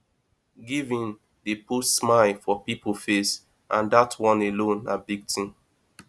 giving dey put smile for people face and dat one alone na big thing